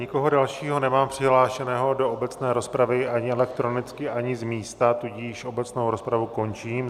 Nikoho dalšího nemám přihlášeného do obecné rozpravy, ani elektronicky, ani z místa, tudíž obecnou rozpravu končím.